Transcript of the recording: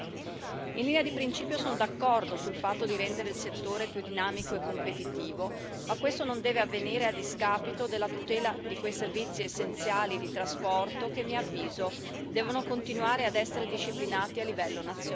In linea di principio sono d'accordo sul fatto di rendere il settore più dinamico e competitivo, ma questo non deve avvenire a discapito della tutela di quei servizi essenziali di trasporto che a mio avviso devono continuare ad essere disciplinati a livello nazionale.